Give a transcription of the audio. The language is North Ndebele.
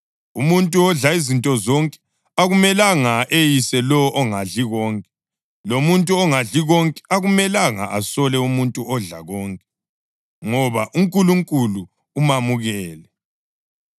Umuntu odla izinto zonke akumelanga eyise lowo ongadli konke, lomuntu ongadli konke akumelanga asole umuntu odla konke, ngoba uNkulunkulu umamukele.